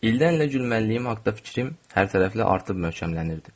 İllərlə gülməliyim haqqda fikrim hərtərəfli artıb möhkəmlənirdi.